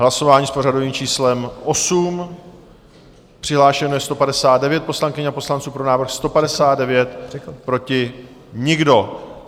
Hlasování s pořadovým číslem 8, přihlášeno je 159 poslankyň a poslanců, pro návrh 159, proti nikdo.